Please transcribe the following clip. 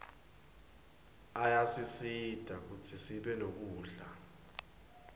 ayasisita kutsi sibe nekudla